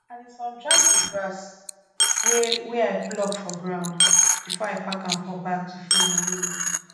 i dey sundry di grass wey wey i pluck for ground before i pack am for bag to feed my animals